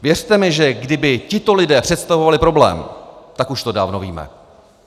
Věřte mi, že kdyby tito lidé představovali problém, tak už to dávno víme.